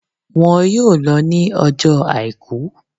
Won yóò lo ní ọjọ́ Àìkú